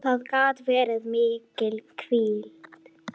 Hvernig bar að túlka þau?